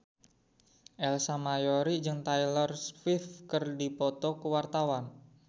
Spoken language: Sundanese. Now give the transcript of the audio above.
Ersa Mayori jeung Taylor Swift keur dipoto ku wartawan